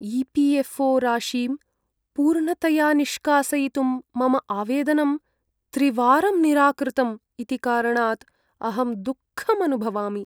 EPFO. राशिं पूर्णतया निष्कासयितुं मम आवेदनं त्रिवारं निराकृतम् इति कारणात् अहं दुःखम् अनुभवामि।